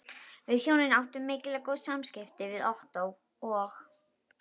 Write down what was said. Við hjónin áttum mikil og góð samskipti við Ottó og